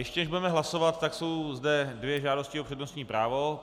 Ještě než budeme hlasovat, tak jsou zde dvě žádosti o přednostní právo.